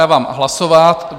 Dávám hlasovat.